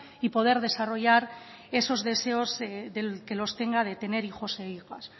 y poder desarrollar esos deseos del que los tenga de tener hijos e hijas